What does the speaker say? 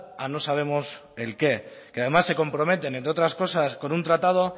a no sabemos el qué que además se compromete entre otras cosas con un tratado